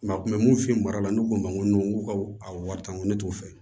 a kun bɛ mun f'i ye mara la ne ko n ma n ko n ko ka a wari taa n ko ne t'o fɛ